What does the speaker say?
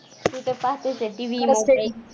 तू तर पाहतेच आहे. TVonline